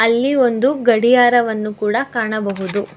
ಅಲ್ಲಿ ಒಂದು ಗಡಿಯಾರವನ್ನು ಕೂಡ ಕಾಣಬಹುದು.